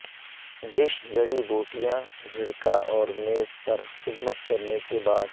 dish جڑی بوٹیاں چھڑکا اور میز پر خدمت کرنے کے بعد